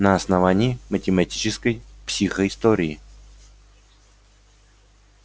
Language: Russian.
на основании математической психоистории